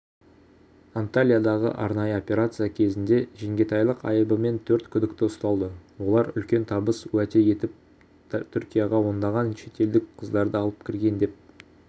антальядағы арнайы операция кезінде жеңгетайлық айыбымен төрт күдікті ұсталды олар үлкен табыс уәде етіп түркияға ондаған шетелдік қыздарды алып кірген деп